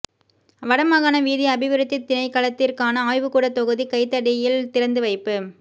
வடமாகாண வீதி அபிவிருத்தி திணைக்களத்திற்கான ஆய்வுகூடத் தொகுதி கைதடியில் திறந்து வைப்பு